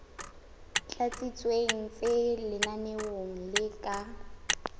tlatsitsweng tse lenaneong le ka